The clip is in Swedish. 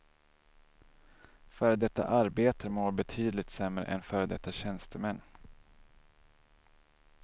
Före detta arbetare mår betydligt sämre än före detta tjänstemän.